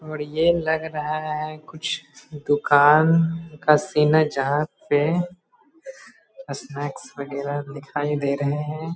और ये लग रहा है कुछ दूकान का सीन है जहाँ पे सनेक्स वगेरा दिखाई दे रहे हैं ।